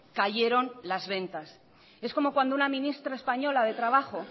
cayeron las ventas es como cuando una ministra española de trabajo